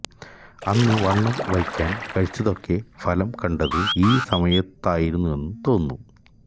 അന്ന് വണ്ണം വയ്ക്കാൻ കഴിച്ചതൊക്കെ ഫലം കണ്ടത് ഈ സമയത്തായിരുന്നെന്നു തോന്നുന്നു